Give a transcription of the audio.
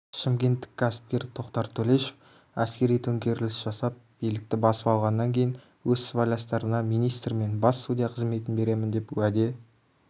шымкенттік кәсіпкер тоқтар төлешов әскери төңкеріліс жасап билікті басып алғаннан кейін өз сыбайластарына министр мен бас судья қызметін беремін деп уәде